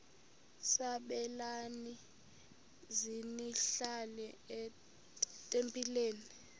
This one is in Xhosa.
sabelani zenihlal etempileni